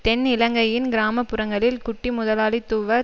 தென் இலங்கையின் கிராம புறங்களில் குட்டிமுதலாளித்துவ